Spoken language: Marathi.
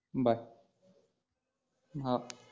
बाय हा